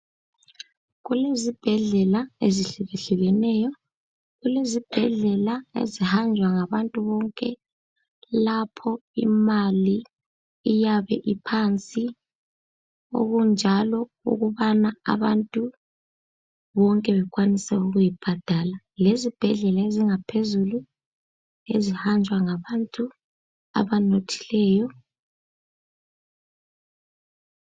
Kulezibhedlela ezihlukehlukeneyo. Kulezibhedlela ezihanjwa ngabantu bonke lapho imali eyabe iphansi okunjalo ukubana abantu bonke bakwanise ukuyibhadala lezibhedlela ezingaphezulu ezihanjwa ngabantu abanothileyo.